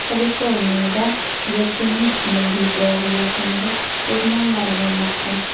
Kaliforniyada Yosemit milliy bog‘i yaqinida o‘rmonlar yonmoqda.